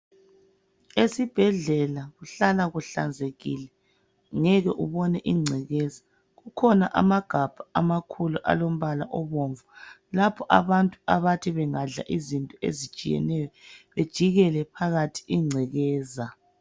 Esibhedlela kuhlala kuhlanzekile ngeke ubone ingcekeza. Kukhona amagabha amakhulu alombala obomvu lapho abantu abathi bengadla izinto ezitshiyeneyo bejikele phakathi ingcekeza.